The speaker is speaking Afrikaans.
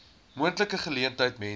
moontlike geleentheid mense